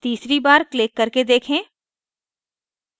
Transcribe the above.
तीसरी बार click करके देखें